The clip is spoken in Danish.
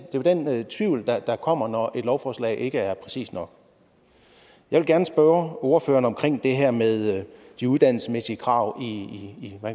tvivl der kommer når et lovforslag ikke er præcist nok jeg vil gerne spørge ordføreren om det her med de uddannelsesmæssige krav i